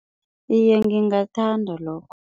Iye, ngingathanda lokho.